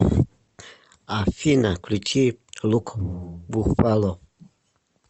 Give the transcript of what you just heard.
афина включи лукбуффало